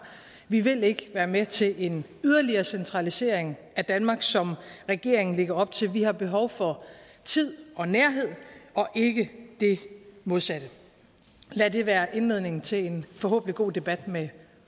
vi vil ikke være med til en yderligere centralisering af danmark som regeringen lægger op til vi har behov for tid og nærhed og ikke det modsatte lad det være indledningen til en forhåbentlig god debat med